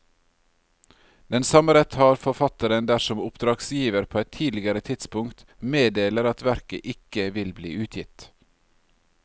Den samme rett har forfatteren dersom oppdragsgiver på et tidligere tidspunkt meddeler at verket ikke vil bli utgitt.